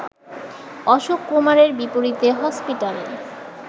অশোক কুমারের বিপরীতে হসপিটাল